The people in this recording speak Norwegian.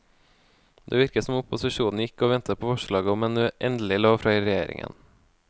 Det virket som opposisjonen gikk og ventet på forslaget om en endelig lov fra regjeringen.